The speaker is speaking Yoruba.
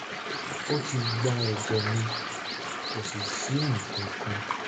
ó ti gba ẹ̀jẹ̀ mi kò sì sí nǹkan kan